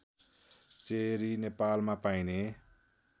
cherry नेपालमा पाइने